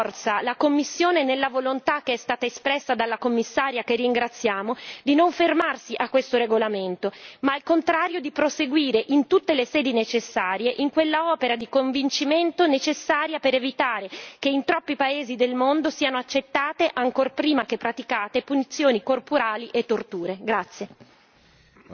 per sostenere con forza la Commissione nella volontà che è stata espressa dalla Commissaria, che ringraziamo, di non fermarsi a questo regolamento, ma al contrario di proseguire in tutte le sedi necessarie in quella opera di convincimento necessaria per evitare che in troppi paesi del mondo siano accettate ancor prima che praticate punizioni corporali e torture.